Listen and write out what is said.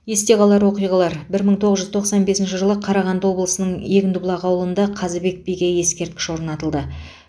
есте қалар оқиғалар бір мың тоғыз жүз тоқсан бесінші жылы қарағанды облысының егіндібұлақ ауылында қазыбек биге ескерткіш орнатылды